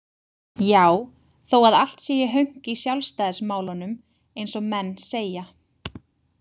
Já, þó að allt sé í hönk í sjálfstæðismálunum, eins og menn segja.